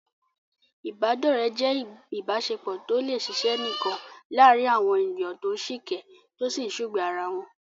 Ìbádọ́rẹ̀ẹ́ jẹ́ ìbáṣepọ̀ tó lè ṣiṣẹ́ nìkan láàárín àwọn ènìyàn tó ń sìkẹ́, tó sì ń sùgbàá ara wọn.